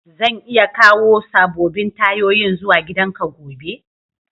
Zan iya kawo sabobin tayoyin zuwa gidan ka gobe?